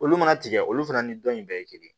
Olu mana tigɛ olu fana ni dɔn in bɛɛ ye kelen ye